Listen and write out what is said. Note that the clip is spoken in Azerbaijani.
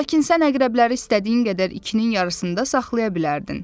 Lakin sən əqrəbləri istədiyin qədər içinin yarısında saxlaya bilərdin.